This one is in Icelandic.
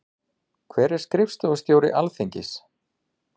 Hver er skrifstofustjóri Alþingis?